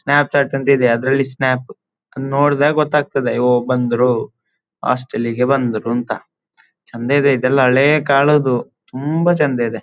Snap chat ಅಂತಿದೆ ಅದರಲ್ಲಿ snap ಅದನ್ನ ನೋಡಿದಾಗ ಗೊತ್ತಾಗ್ತದೆ ಓ ಬಂದರು ಹಾಸ್ಟೆಲ್ಲಿಗೆ ಬಂದರು ಅಂತ ಚಂದ ಇದೆ ಇದೆಲ್ಲ ಹಳೇ ಕಾಲದ್ದು ತುಂಬ ಚಂದ ಇದೆ.